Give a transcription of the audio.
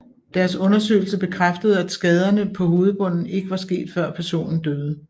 Deres undersøgelse bekræftede at skaderne på hovedbunden ikke var sket før personen døde